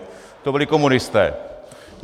To byli komunisté.